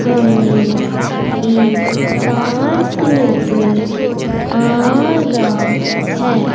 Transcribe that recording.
हमें एक पार्क नजर आ रहा है।